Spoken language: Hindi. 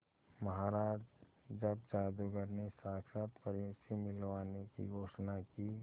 महाराज जब जादूगर ने साक्षात परियों से मिलवाने की घोषणा की